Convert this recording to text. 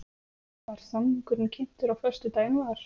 Var samningurinn kynntur á föstudaginn var